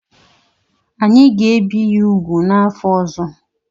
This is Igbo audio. Anyị ga-ebi ya úgwù n'afọ ọzọ.